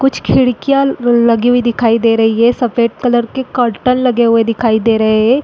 कुछ खिड़कियाँ लगी हुई दिखाई दे रही है सफेद कलर के कर्टेन लगे हुए दिखाई दे रहे हैं।